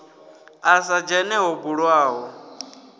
a sa dzhene ho bulwaho